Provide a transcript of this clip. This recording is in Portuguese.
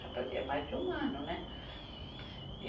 Já fazia mais de um ano, né? E